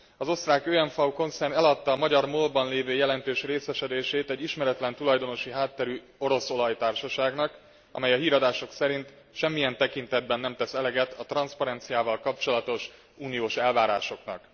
Az osztrák OMV konszern eladta a magyar MOL ban lévő jelentős részesedését egy ismeretlen tulajdonosi hátterű orosz olajtársaságnak, amely a híradások szerint semmilyen tekintetben nem tesz eleget a transzparenciával kapcsolatos uniós elvárásoknak.